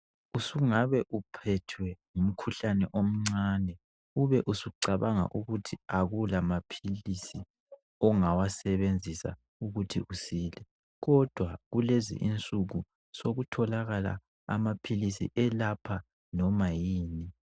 Usungabe uphethwe ngumkhuhlane omncane. Ubusucabanga ukuthi kakulamaphilisi ongawasebenzisa ukuthi usile, kodwa kulezi insuku, sekutholakala amaphilisi elapha loba yini.